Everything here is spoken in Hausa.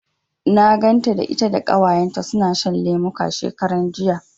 Na ganta da ita da Ƙawayenta suna shan lemuka, shekaran jiya.